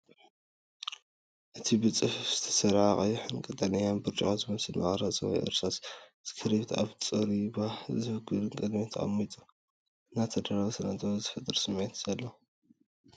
እቲ ብጽፉፍ ዝተሰርዐ ቀይሕን ቀጠልያን ብርጭቆ ዝመስል መቕረፂ ወይ እርሳስ ስክሪፕት ኣብ ጽሩይን ባህ ዘብልን ቅድሚት ተቐሚጡ፡ ዝተዳለወ ስነ-ጥበብ ዝፈጥር ስምዒት እኒሄዎ።